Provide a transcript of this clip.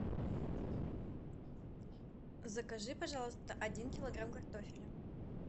закажи пожалуйста один килограмм картофеля